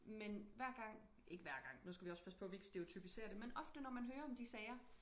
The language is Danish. Men hver gang ikke hver gang nu skal vi også passe på vi ikke stereotypiserer det men ofte når man hører om de sager